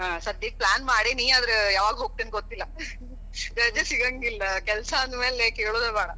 ಸದ್ಯಕ್ plan ಮಾಡೇನಿ, ಆದ್ರ ಯಾವಾಗ ಹೋಗತೇನಿ ಗೊತ್ತಿಲ್ಲಾ. ರಜಾ ಸಿಗಾಂಗಿಲ್ಲಾ, ಕೆಲ್ಸಾ ಅಂದಮ್ಯಾಲೆ ಕೇಳುದ ಬ್ಯಾಡ.